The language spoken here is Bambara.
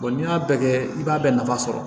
n'i y'a bɛɛ kɛ i b'a bɛɛ nafa sɔrɔ